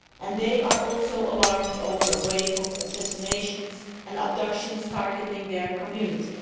They are also alarmed by a wave of assassinations and abductions targeting their community.